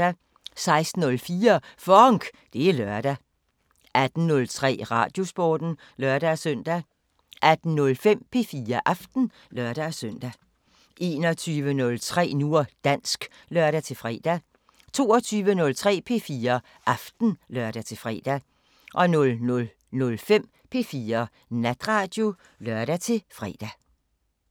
16:04: FONK! Det er lørdag 18:03: Radiosporten (lør-søn) 18:05: P4 Aften (lør-søn) 21:03: Nu og dansk (lør-fre) 22:03: P4 Aften (lør-fre) 00:05: P4 Natradio (lør-fre)